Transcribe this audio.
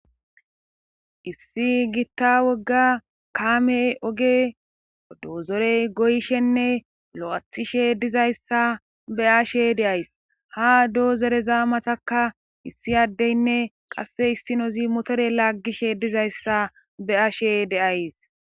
issi giitta wogga kaamey oge doozorey goyshenne lo7athishe dizayssa be ashe deays ha doozere zaamatakka issi addeynne qasse issinozi motore laaggishe dizayssa be ashe deays